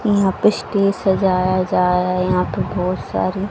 यहाँ पे स्टेज सजाया जा रहा है यहाँ पे बहोत सारे--